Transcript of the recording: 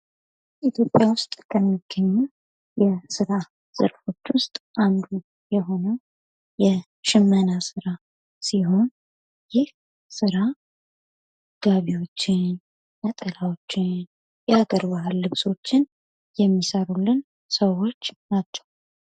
ኢትዮጵያ ዉስጥ ከምግኙ የስራ ዘርፎች ዉስጥ አንዱ የሆነው የሽመና ሥራ ሲሆን ይህ ሥራ ጋቢዎችን ነጠላዎችን የሀገር ባህል ልብሶችን የሚሰሩልን ሰዎቭህ ናቸው::